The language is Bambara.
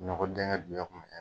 Nɔkɔ dingɛ duɲɛn kun mi kɛ